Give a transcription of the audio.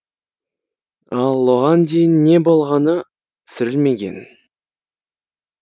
ал оған дейін не болғаны түсірілмеген